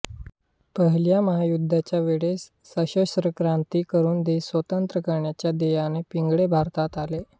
पहिल्या महायुद्धाच्या वेळेस सशस्त्र क्रांती करून देश स्वतंत्र करण्याच्या ध्येयाने पिंगळे भारतात आले